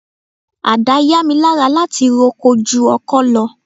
Ada yá mi lára láti roko ju ọkọ lọ.